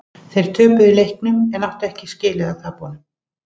Þeir töpuðu leiknum en þeir áttu ekki skilið að tapa honum.